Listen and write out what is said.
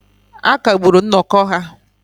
A kagburu nnọkọ ha